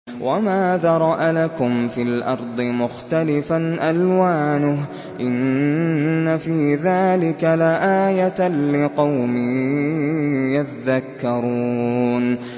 وَمَا ذَرَأَ لَكُمْ فِي الْأَرْضِ مُخْتَلِفًا أَلْوَانُهُ ۗ إِنَّ فِي ذَٰلِكَ لَآيَةً لِّقَوْمٍ يَذَّكَّرُونَ